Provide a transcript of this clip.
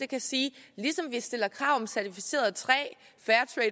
kan sige at ligesom vi stiller krav om certificeret træ fair